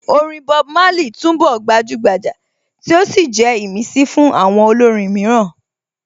Orin Bob Marley túnbọ̀ gbajúgbajà tí ó sì jẹ́ ìmísí fún àwọn olórin mìíràn